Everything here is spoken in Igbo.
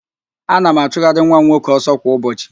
Ana m achụgharị nwa m nwoke ọsọ kwa ụbọchị